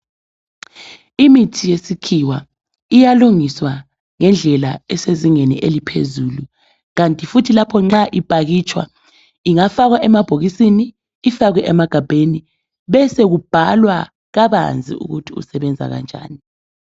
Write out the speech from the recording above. Imithi yesikhiwa iyalungiswa ngendlela esezingeni eliphezulu kanti futhi lapho ma iphakitsha ingafakwa emagabheni ifakwa emabhokisini besoku bhalwa kabanzi ukuthi isebenza njani.